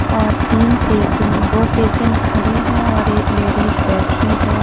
और तीन पेशेंट दो पेशेंट खड़े हैं और एक लेडिस बैठी है।